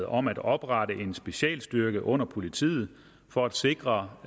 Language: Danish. om at oprette en specialstyrke under politiet for at sikre